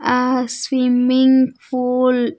ఆ swimming pool .